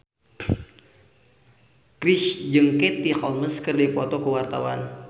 Chrisye jeung Katie Holmes keur dipoto ku wartawan